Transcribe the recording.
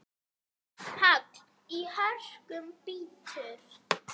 Hagl í hörkum bítur.